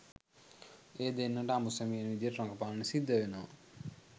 ඒ දෙන්නට අඹු සැමියන් විදිහට රඟපාන්න සිද්ධ වෙනවා